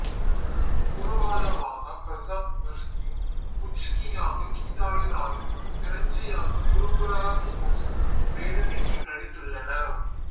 குருபாதாவாக பிரசாத் முகர்சியும் புச்கியாக கீதாலி ராயும் பிரிஞ்சியாக குருப்பிரகாசு கோசும் வேடமேற்று நடித்துள்ளனர்